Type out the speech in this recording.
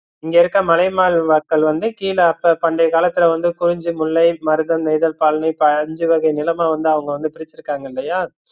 இங்க இருக்கிற மலைவாழ் மக்கள் வந்து கீழ அப்ப பண்டைய காலத்துல வந்து குறிஞ்சி, முல்லை, மருதம், நெய்தல், பாலைனு அஞ்சு வகை நிலமா வந்து அவுங்க வந்து ப்ரிசிருகங்கல்லையா